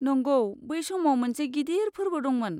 नंगौ, बै समाव मोनसे गिदिर फोर्बो दंमोन।